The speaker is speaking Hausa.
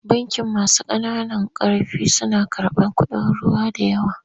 Bankin masu ƙananan ƙarfi suna karɓar kuɗin ruwa da yawa.